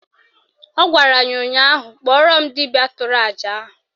Ọ gwara ya ụnyaahụ "Kpọrọ m dibịa tụrụ àjà ahụ"!